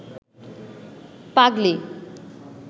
পাগলি